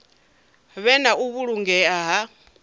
vhe na u vhulungea ha